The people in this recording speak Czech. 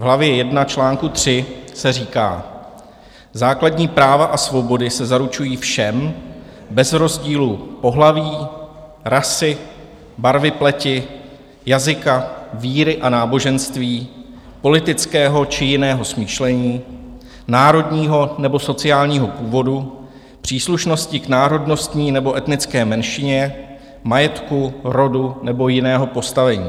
V hlavě 1 čl. 3 se říká: "Základní práva a svobody se zaručují všem bez rozdílu pohlaví, rasy, barvy pleti, jazyka, víry a náboženství, politického či jiného smýšlení, národního nebo sociálního původu, příslušnosti k národnostní nebo etnické menšině, majetku, rodu nebo jiného postavení."